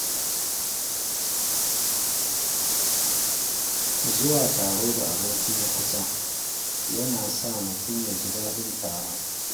Zuwa taro da aboki na kusa yana sa mutum ya ji daɗin taron.